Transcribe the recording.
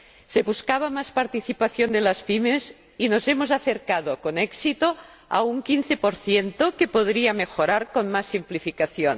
Se buscaba más participación de las PYME y nos hemos acercado, con éxito, a un 15 que podría mejorar con más simplificación.